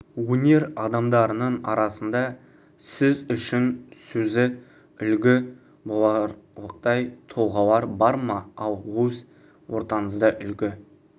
өнер адамдарының арасында сіз үшін сөзі үлгі боларлықтай тұлғалар бар ма ал өз ортаңызда үлгі